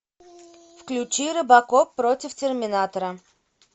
включи робокоп против терминатора